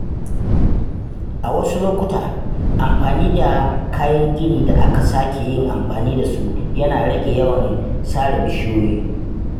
A wasu lokuta, amfani da kayan gini da aka sake yin amfani da su yana rage yawan sare bishiyoyi.